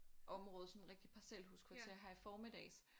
Område sådan rigtig parcelhuskvarter her i formiddags